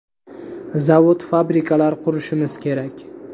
Zavod-fabrikalar qurishimiz kerak.